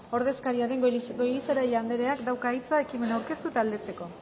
ordezkaria den goirizelaia andereak dauka hitza ekimena aurkeztu eta aldezteko